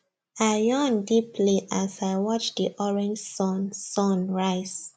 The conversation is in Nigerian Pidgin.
i yawn deeply as i watch the orange sun sun rise